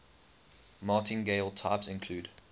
martingale types include